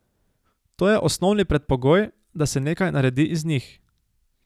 To je osnovni predpogoj, da se nekaj naredi iz njih.